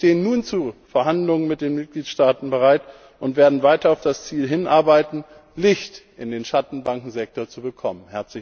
Wir stehen nun zu Verhandlungen mit den Mitgliedstaaten bereit und werden weiter auf das Ziel hinarbeiten, Licht in den Schattenbankensektor zu bekommen.